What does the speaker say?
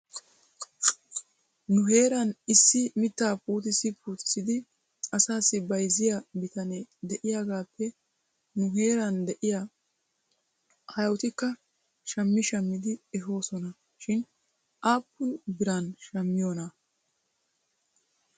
Nu heeran issi mitaa puutissi puutissidi asaassi bayzziyaa bitanee de'iyaagaappe nu heeran de'iyaa aayotikka shammi shammidi ehoosona shin aappun biran shammiyoonaa?